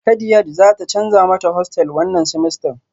Kadiaj zata canza mata hostel wannan semester